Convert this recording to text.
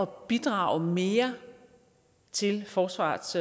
bidrage mere til forsvarets